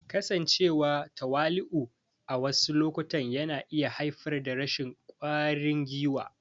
Kasancewa me tawali'u a wasu lokutan yana iya haifar da rashin ƙwarin gwiwa.